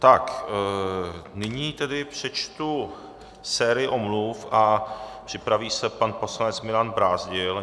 Tak, nyní tedy přečtu sérii omluv a připraví se pan poslanec Milan Brázdil.